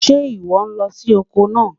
Sẹ́ íwọ́ lọ ni ọkọ́ náà?